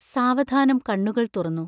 സാവധാനം കണ്ണുകൾ തുറന്നു.